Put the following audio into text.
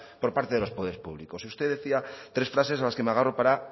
por parte de los poderes público y usted decía tres frases a las que me agarro para